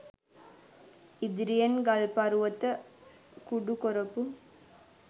ඉදිරියෙන් ගල් පරුවත කුඩු කොරපු